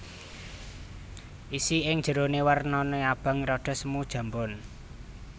Isi ing jeroné wernané abang rada semu jambon